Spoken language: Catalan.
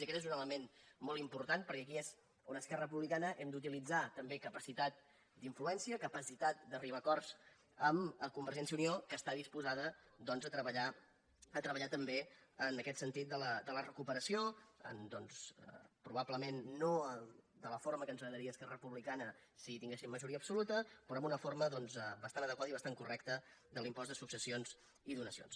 i aquest és un element molt important perquè aquí és on esquerra republicana hem d’utilitzar també capacitat d’influència capacitat d’arribar a acords amb convergència i unió que està disposada doncs a treballar també en aquest sentit de la recuperació probablement no de la forma que ens agradaria a esquerra republicana si tinguéssim majoria absoluta però d’una forma bastant adequada i bastant correcta de l’impost de successions i donacions